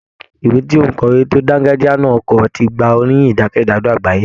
Ìwé tí òǹkọ̀wé tí ó dángájíá na kọ ti gba oríyìn jákèjádò àgbáyé.